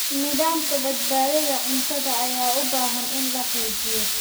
Nidaamka badbaadada cuntada ayaa u baahan in la xoojiyo.